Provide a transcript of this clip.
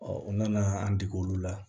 u nana an dege olu la